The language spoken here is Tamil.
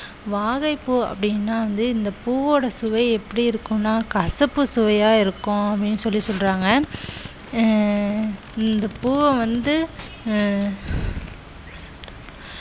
வாகைப்பூ அப்படின்னா வந்து இந்த பூவோட சுவை எப்படி இருக்கும்னா கசப்பு சுவையா இருக்கும் அப்படீன்னு சொல்லி சொல்றாங்க அஹ் இந்த பூவ வந்து அஹ்